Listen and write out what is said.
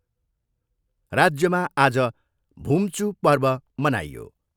राज्यमा आज भुम्चू पर्व मनाइयो।